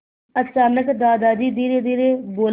अचानक दादाजी धीरेधीरे बोले